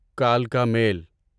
کلکا میل